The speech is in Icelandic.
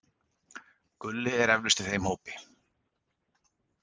Gulli er eflaust í þeim hópi.